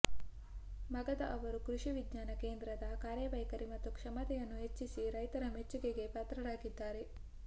ಮಗದ ಅವರು ಕೃಷಿ ವಿಜ್ಞಾನ ಕೇಂದ್ರದ ಕಾರ್ಯವೈಖರಿ ಮತ್ತು ಕ್ಷಮತೆಯನ್ನು ಹೆಚ್ಚಿಸಿ ರೈತರ ಮೆಚ್ಚುಗೆಗೆ ಪಾತ್ರರಾಗಿದ್ದಾರೆ